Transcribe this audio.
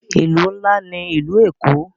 Ìlú ńlá ní ìlú Èkó.